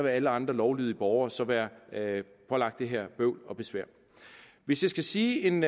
alle andre lovlydige borgere så være pålagt det her bøvl og besvær hvis jeg skal sige en